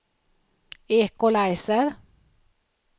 equalizer